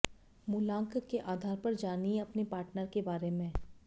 मूलांक के आधार पर जानिए अपने पार्टनर के बारे में